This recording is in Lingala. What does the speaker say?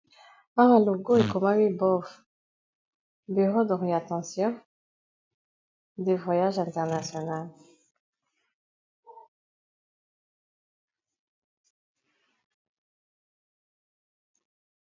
Awa logo ekomami bov bureau d'orientation de voyages international.